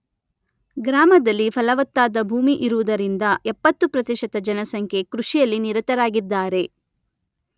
ಗ್ರಾಮದಲ್ಲಿ ಫಲವತ್ತಾದ ಭೂಮಿ ಇರುವುದರಿಂದ ಎಪ್ಪತ್ತು ಪ್ರತಿಶತ ಜನಸಂಖ್ಯೆ ಕೃಷಿಯಲ್ಲಿ ನಿರತರಾಗಿದ್ದಾರೆ.